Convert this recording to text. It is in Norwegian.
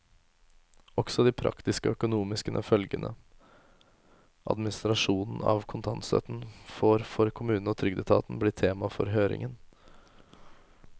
Også de praktiske og økonomiske følgene administrasjonen av kontantstøtten får for kommunene og trygdeetaten, blir tema for høringen.